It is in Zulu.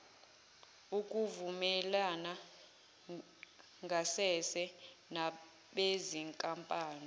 ukuvumelana ngasese nabezinkampani